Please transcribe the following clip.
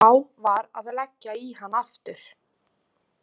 Þá var að leggja í hann aftur.